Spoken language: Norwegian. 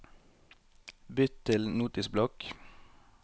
Bytt til Notisblokk